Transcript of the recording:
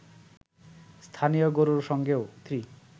স্থানীয় গরুর সঙ্গে3